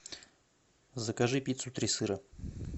закажи пиццу три сыра